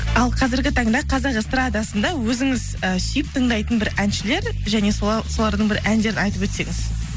ал қазіргі таңда қазақ эстрадасында өзіңіз і сүйіп тыңдайтын бір әншілер және солардың бір әндерін айтып өтсеңіз